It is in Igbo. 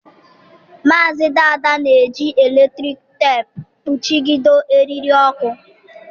Maazị Dada na-eji eletrik teepu kpuchido eriri ọkụ